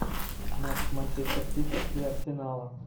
матч манчестер сити и арсенала